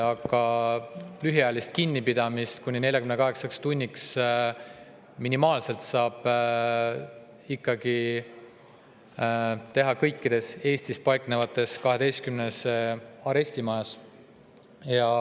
Aga lühiajalist kinnipidamist kuni 48 tunniks saab ikkagi teha kõikides Eestis paiknevates 12 arestimajas.